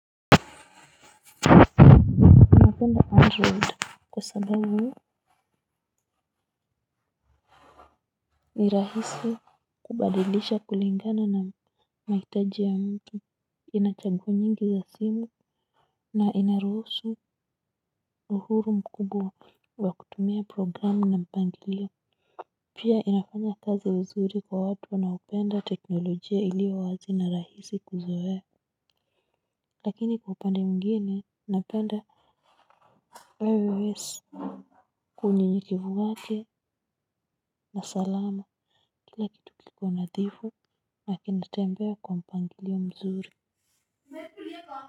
Napenda android kwa sababu ni rahisi kubadilisha kulingana na mahitaji ya mtu ina chaguo nyingi za simu na inaruhusu uhuru mkubwa wa kutumia programu na mpangilio. Pia inafanya kazi vizuri kwa watu wanaopenda teknolojia iliyo wazi na rahisi kuzoea. Lakini kwa upande mwingine napenda ios. Kwenye kivuakia, na salama, kila kitu kipo nadhifu, na kinatembea kwa mpangilio mzuri.